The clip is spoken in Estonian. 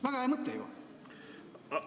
Väga hea mõte ju!